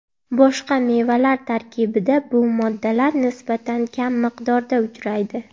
Boshqa mevalar tarkibida bu moddalar nisbatan kam miqdorda uchraydi.